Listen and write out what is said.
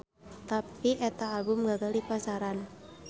Tapi eta album gagal di pasaran.